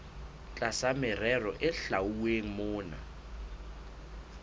tlasa merero e hlwauweng mona